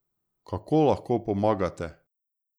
Kako lahko pomagate?